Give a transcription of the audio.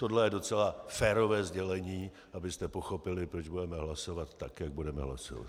Tohle je docela férové sdělení, abyste pochopili, proč budeme hlasovat tak, jak budeme hlasovat.